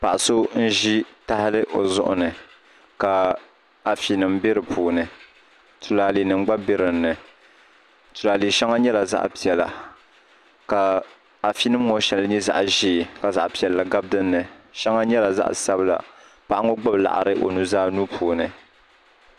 Paɣa so n ʒi tahali o zuɣu ni ka afi nim bɛ di puuni tulaalɛ nim gba bɛ dinni tulaalɛ shɛŋa nyɛla zaɣ piɛla ka afi nim ŋo shɛli nyɛ zaɣ ʒiɛ ka zaɣ piɛlli gabi dinni shɛŋa nyɛla zaɣ sabila paɣa ŋo gbubi laɣari o nuzaa nuu puuni